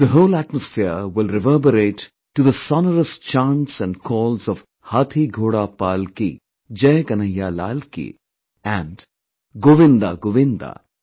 The whole atmosphere will reverberate to the sonorous chants & calls of 'Hathi, Ghoda, Palki', 'Jai KanhaiyaLalki' and 'GovindaGovinda'